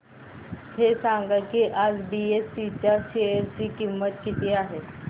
हे सांगा की आज बीएसई च्या शेअर ची किंमत किती आहे